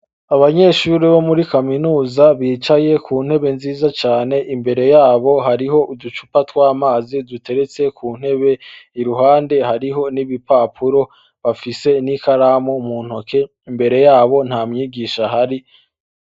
Abanyeshure bo muri Kaminuza bicaye ku ntebe nziza cane ; imbere yabo hariho uducupa tw'amazi duteretse ku ntebe. Iruhande hariho n'ibipapuro , bafise n'ikaramu mu ntoke ; imbere yabo nta mwigisha ahari.